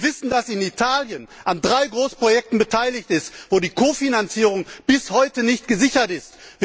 Wir wissen, dass Italien an drei Großprojekten beteiligt ist, bei denen die Kofinanzierung bis heute nicht gesichert ist.